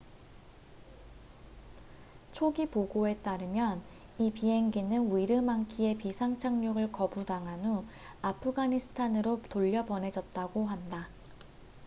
초기 보고에 따르면 이 비행기는 위르망키에 비상 착륙을 거부당한 후 아프가니스탄으로 돌려보내졌다고 한다